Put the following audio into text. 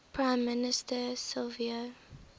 prime minister silvio